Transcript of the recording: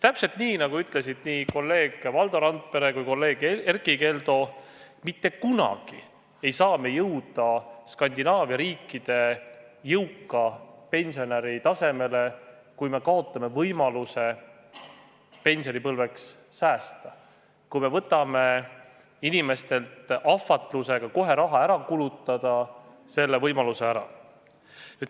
Täpselt nii, nagu ütlesid kolleeg Valdo Randpere ja kolleeg Erkki Keldo, ei saa me mitte kunagi jõuda Skandinaavia riikide jõuka pensionäri tasemele, kui kaotame võimaluse pensionipõlveks säästa, ahvatledes inimesi kohe raha ära kulutama.